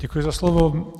Děkuji za slovo.